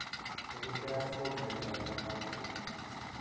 Kernicterus ko miondo nename akilit.